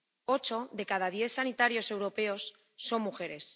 Ocho de cada diez sanitarios europeos son mujeres.